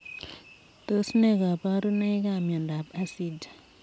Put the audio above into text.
Tos nee kabarunoik ap miondoop asija eeh?